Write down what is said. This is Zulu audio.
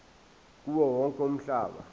kuwo wonke umhlaba